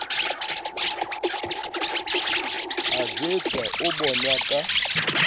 a jwetswa o bonwa ka